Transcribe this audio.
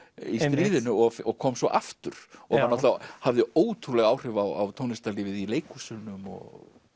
í stríðinu og og kom svo aftur hafði ótrúleg áhrif á tónlistarlífið í leikhúsunum og